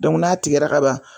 n'a tigɛra kaban.